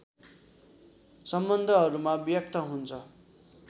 सम्बन्धहरूमा व्यक्त हुन्छ